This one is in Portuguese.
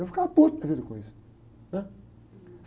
Eu ficava da vida com isso, né?